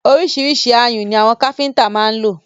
Ọríṣiríṣi ayùn ni àwọn káfíńńtà má ń lò.